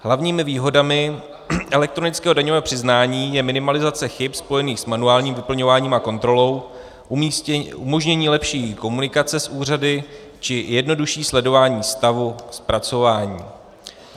Hlavními výhodami elektronického daňového přiznání je minimalizace chyb spojených s manuálním vyplňováním a kontrolou, umožnění lepší komunikace s úřady či jednodušší sledování stavu zpracování.